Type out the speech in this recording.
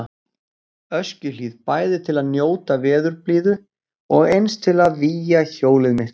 Öskjuhlíð, bæði til að njóta veðurblíðu og eins til að vígja hjólið mitt.